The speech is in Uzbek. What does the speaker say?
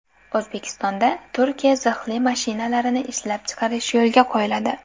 O‘zbekistonda Turkiya zirhli mashinalarini ishlab chiqarish yo‘lga qo‘yiladi.